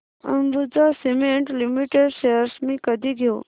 Ambuja cement limited shares मी कधी घेऊ